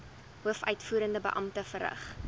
hoofuitvoerende beampte verrig